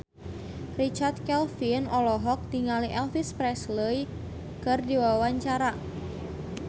Richard Kevin olohok ningali Elvis Presley keur diwawancara